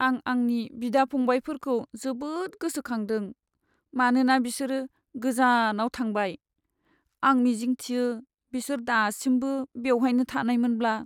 आं आंनि बिदा फंबायफोरखौ जोबोद गोसोखांदों मानोना बिसोरो गोजानाव थांबाय। आं मिजिंथियो बिसोर दासिमबो बेवहायनो थानायमोनब्ला!